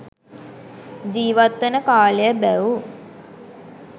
ජීවත්වන කාලය බැව්